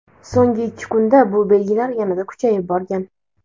so‘ngi ikki kunda bu belgilar yanada kuchayib borgan.